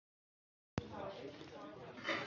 Já, já ef þú vilt. sagði afi.